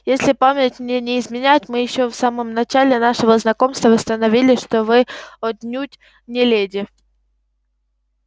если память мне не изменяет мы ещё в самом начале нашего знакомства установили что вы отнюдь не леди